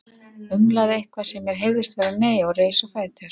Umlaði eitthvað sem mér heyrðist vera nei og reis á fætur.